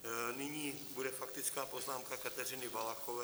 Nyní bude faktická poznámka Kateřiny Valachové.